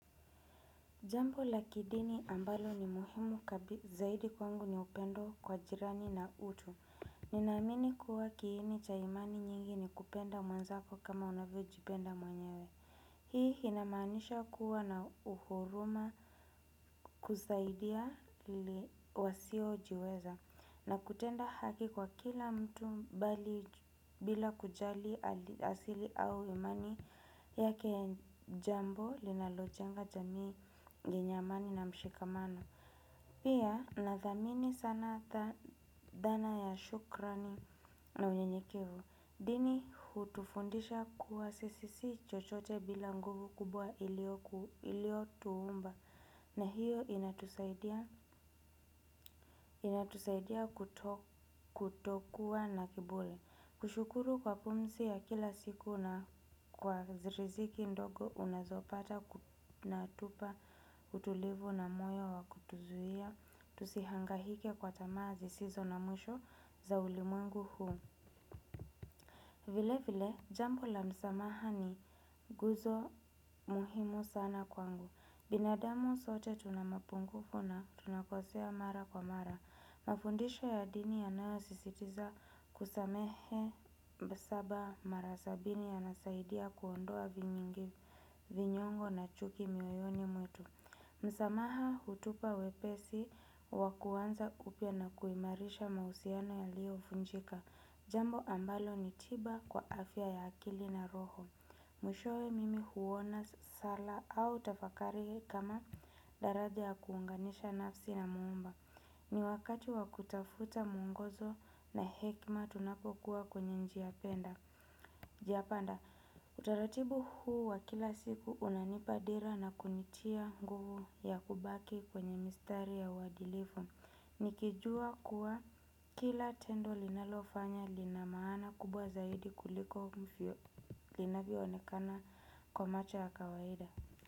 Jambo la kidini ambalo ni muhimu zaidi kwangu ni upendo kwa jirani na utu. Ninaamini kuwa kiini cha imani nyingi ni kupenda mwenzako kama unavyo jipenda mwenyewe. Hii inamanisha kuwa na huruma kusaidia wasiojiweza. Na kutenda haki kwa kila mtu mbali bila kujali asili au imani yake jambo linalojenga jamii yenye amani na mshikamano. Pia nathamini sana dhana ya shukrani na unyenyekevu. Dini hutufundisha kuwa sisi si chochote bila nguvu kubwa iliyo tuumba. Na hiyo inatusaidia kutokuwa na kiburi. Kushukuru kwa pumzi ya kila siku na kwa riziki ndogo unazopata na tupa utulivu na moyo wa kutuzuia. Tusihangahike kwa tamaa zisizo na mwisho za ulimwengu huu. Vile vile, jambo la msamaha ni guzo muhimu sana kwangu. Binadamu sote tuna mapungufu na tunakosea mara kwa mara. Mafundisho ya dini yanayo sisitiza kusamehe. Saba mara sabini yanasaidia kuondoa vinyongu. Vinyongo na chuki mioyoni mwetu msamaha hutupa wepesi wa kuanza kupya na kuimarisha mahusiano yaliyo vunjika. Jambo ambalo ni tiba kwa afya ya akili na roho mwishowe mimi huona sala au tafakari kama daraja ya kuunganisha nafsi na muumba. Ni wakati wa kutafuta mwongozo na hekima tunapokuwa kwenye njia penda njia panda utaratibu huu wa kila siku unanipa dira na kunitia nguvu ya kubaki kwenye mistari ya uadilifu. Nikijua kuwa kila tendo linalofanya lina maana kubwa zaidi kuliko mfyo linavyo onekana kwa macho ya kawaida.